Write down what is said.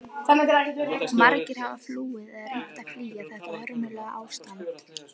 Margir hafa flúið eða reynt að flýja þetta hörmulega ástand.